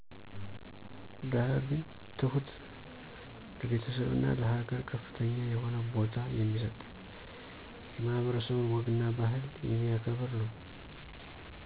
ደሀ ግን ትሁት፣ ለቤተሰብና ለሀገር ከፍተኛ የሆነ በታ የሚሰጥ። የማህበረሰቡን ወግና ባህል የሚያከብር ነው።